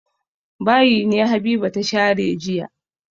Bayi ne Habiba ta share jiya.